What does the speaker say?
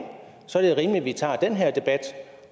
så er det rimeligt at vi tager den her debat